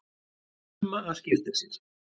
Fruma að skipta sér.